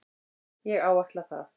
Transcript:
Ég áætla það.